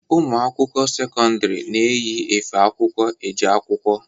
Ụmụ akwụkwọ sekọndiri na-eyi efe akwụkwọ eje akwụkwọ.